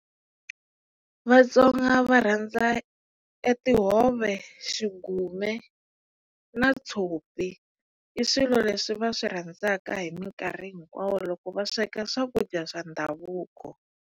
Vatsonga va rhandza e tihove, xigume ka na tshopi i swilo leswi va swi rhandzaka hi minkarhi hinkwawo loko va sweka swakudya swa ndhavuko.